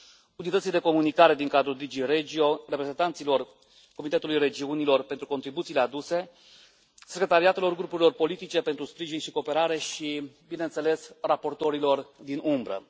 Unității de comunicare din cadrul DG REGIO, reprezentanților Comitetului Regiunilor pentru contribuțiile aduse, secretariatelor grupurilor politice pentru sprijin și cooperare și, bineînțeles, raportorilor din umbră.